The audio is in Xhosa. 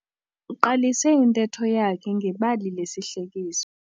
Uqalise intetho yakhe ngebali lesihlekiso.